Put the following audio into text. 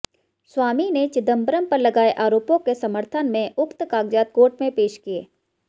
स्वामी ने चिदंबरम पर लगाये आरोपों के समर्थन में उक्त कागजात कोर्ट में पेश किये